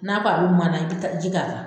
N'a ko a bɛ mana, i bɛ taa ji k'a la.